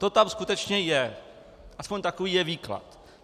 To tam skutečně je, aspoň takový je výklad.